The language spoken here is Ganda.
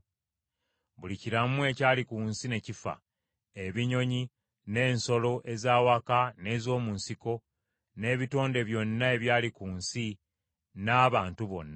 Buli kiramu ekyali ku nsi ne kifa: ebinyonyi n’ensolo ez’awaka n’ez’omu nsiko, n’ebitonde byonna ebyali ku nsi n’abantu bonna.